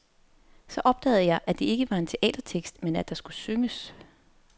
Så opdagede jeg, at det ikke var en teatertekst, men at det skulle synges.